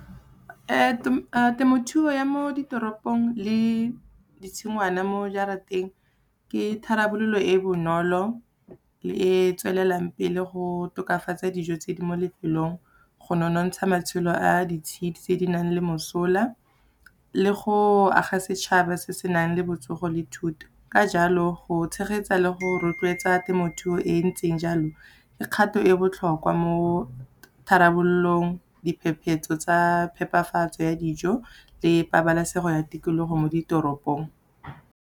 Temothuo ya mo ditoropong le ditshingwana mo jarateng, ke tharabololo e bonolo le e tswelelang pele go tokafatsa dijo tse di mo lefelong, go nonontsha matshelo a ditshidi tse di nang le mosola, le go aga setšhaba se se nang le botsogo le thuto. Ka jalo, go tshegetsa le go rotloetsa temothuo e ntseng jalo, ke kgato e botlhokwa mo tharabololong, diphephetso tsa phepafatso ya dijo le pabalesego ya tikologo mo ditoropong.